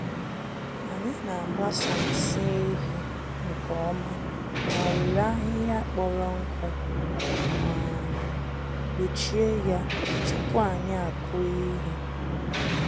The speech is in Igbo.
Anyị n’agbasa nsị ehi nke ọma ma were ahịhịa kpọrọ nkụ um kpuchie ya tupu anyị akụ ihe.